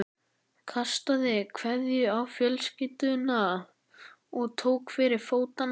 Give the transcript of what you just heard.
Kastaði kveðju á fjölskylduna og tók til fótanna.